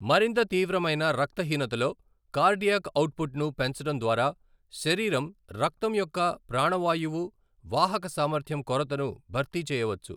మరింత తీవ్రమైన రక్తహీనతలో, కార్డియాక్ అవుట్పుట్ను పెంచడం ద్వారా శరీరం, రక్తం యొక్క ప్రాణవాయువు వాహక సామర్థ్యం కొరతను భర్తీ చేయవచ్చు.